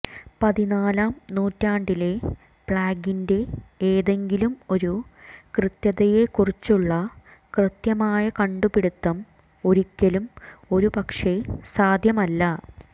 പതിനാലാം നൂറ്റാണ്ടിലെ പ്ലേഗിന്റെ ഏതെങ്കിലും ഒരു കൃത്യതയെക്കുറിച്ചുള്ള കൃത്യമായ കണ്ടുപിടിത്തം ഒരിക്കലും ഒരുപക്ഷേ സാധ്യമല്ല